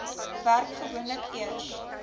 werk gewoonlik eers